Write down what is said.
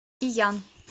иян